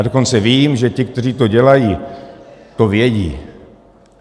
A dokonce vím, že ti, kteří to dělají, to vědí.